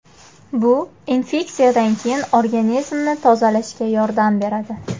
Bu infeksiyadan keyin organizmni tozalashga yordam beradi .